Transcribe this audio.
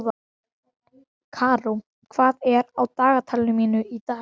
Karó, hvað er á dagatalinu mínu í dag?